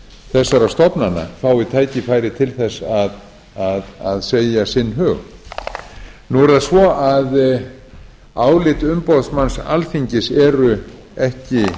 þessara stofnana fái tækifæri til þess að segja sinn hug nú er það svo að álit umboðsmanns alþingis eru ekki